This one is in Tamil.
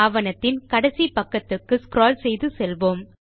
ஆவணத்தின் கடைசி பக்கத்துக்கு ஸ்க்ரால் செய்து செல்வோம்